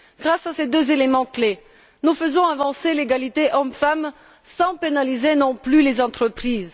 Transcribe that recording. Grâce à ces deux éléments clés, nous faisons avancer l'égalité hommes femmes sans pénaliser non plus les entreprises.